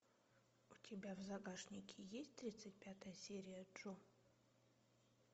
у тебя в загашнике есть тридцать пятая серия джо